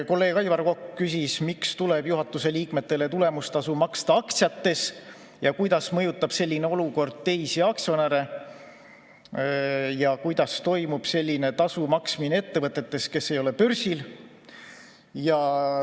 Kolleeg Aivar Kokk küsis, miks tuleb juhatuse liikmetele tulemustasu maksta aktsiates, kuidas mõjutab selline olukord teisi aktsionäre ja kuidas toimub selline tasu maksmine ettevõtetes, kes ei ole börsil.